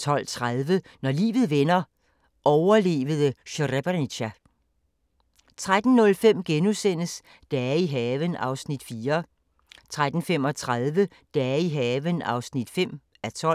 12:30: Når livet vender – overlevede Srebrenica 13:05: Dage i haven (4:12)* 13:35: Dage i haven (5:12)